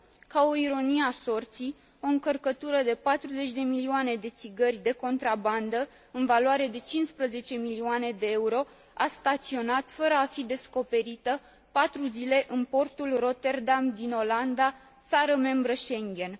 Ca o ironie a sorții, o încărcătură de 40 de milioane de țigări de contrabandă în valoare de 15 milioane de euro a staționat, fără a fi descoperită, patru zile în portul Rotterdam din Olanda, țară membră Schengen.